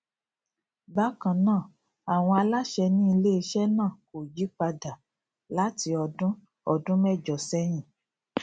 bakan naa awọn alaṣẹ ni ileiṣẹ naa ko yipada lati ọdun ọdun mẹjọ sẹyin